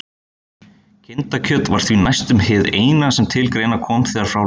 Kindakjöt var því næstum hið eina sem til greina kom þegar frá leið.